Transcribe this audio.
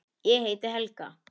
Ég heiti Helga!